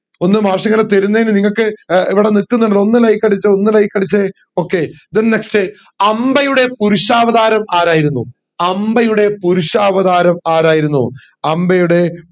ഒന്ന് മാഷിങ്ങനെ തരുന്നെന് നിങ്ങക്ക് ഏർ ഇവിടെ നിക്കുന്ന്ണ്ട്ന്ന് ഒന്ന് like അടിച്ചേ ഒന്ന് like അടിച്ചേ okay then next അംബയുടെ പുരുഷാവതാരം ആരായിരുന്നു അംബയുടെ പുരുഷാവതാരം ആരായിരുന്നു അംബയുടെ